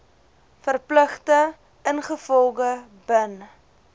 verpligtinge ingevolge bin